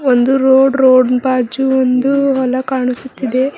ಒಂದು road road ಬಾಜು ಒಂದು ಹೊಲ ಕಾಣಿಸುತ್ತಿದೆ.